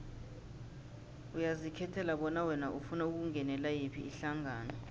uyazikhethela bona wena ufuna ukungenela yiphi ihlangano